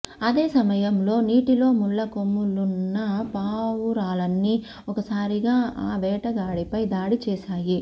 అదే సమయంలో నోటిలో ముళ్ల కొమ్మలున్న పావురాలన్నీ ఒక్కసారిగా ఆ వేటగాడిపై దాడి చేసాయి